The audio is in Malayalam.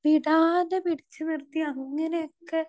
സ്പീക്കർ 2 വിടാതെ പിടിച്ചു നിർത്തി അങ്ങനെയൊക്കെ